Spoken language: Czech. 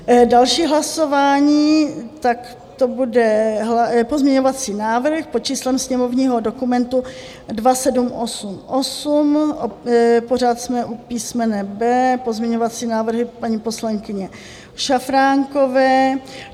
Další hlasování, tak to bude pozměňovací návrh pod číslem sněmovního dokumentu 2788, pořád jsme u písmene B pozměňovací návrhy paní poslankyně Šafránkové.